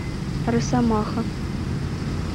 росомаха